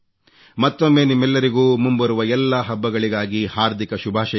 ಮತ್ತೊಮ್ಮೆ ನಿಮ್ಮೆಲ್ಲರಿಗೂ ಮುಂಬರುವ ಎಲ್ಲಾ ಹಬ್ಬಗಳಿಗಾಗಿ ಹಾರ್ದಿಕ ಶುಭಾಷಯಗಳು